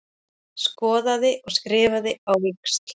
Skoðaði og skrifaði á víxl.